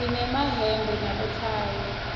sinemayemba nabothayi